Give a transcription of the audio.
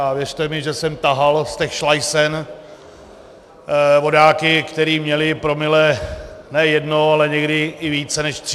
A věřte mi, že jsem tahal z těch šlajsen vodáky, kteří měli promile ne jedno, ale někdy i více než tři.